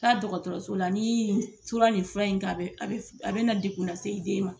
Taa dɔgɔtɔrɔso la ni tura nin fura in k'an a bɛna degun na se i den ma.